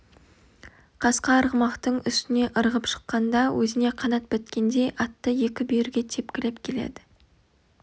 қасқа арғымақтың үстіне ырғып шыққанда өзіне қанат біткендей атты екі бүйірге тепкілеп келеді